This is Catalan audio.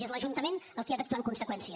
i és l’ajuntament qui ha d’actuar en conseqüència